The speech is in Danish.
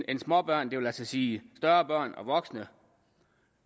end småbørn det vil altså sige større børn og voksne